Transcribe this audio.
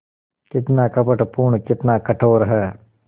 कितना कपटपूर्ण कितना कठोर है